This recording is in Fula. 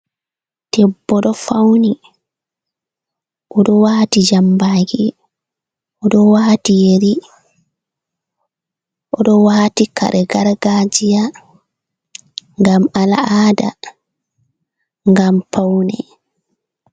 Debbo ɗo fawni, o ɗo waati jammbaaki, o ɗo waati yeri, o ɗo waati kare gargaajiya ngam al’aada ngam pawne.